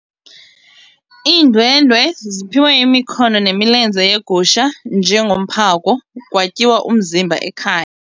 Iindwendwe ziphiwe imikhono nemilenze yegusha njengomphako kwatyiwa umzimba ekhaya.